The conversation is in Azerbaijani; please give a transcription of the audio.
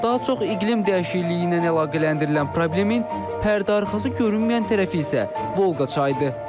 Daha çox iqlim dəyişikliyi ilə əlaqələndirilən problemin pərdəarxası görünməyən tərəfi isə Volqa çayıdır.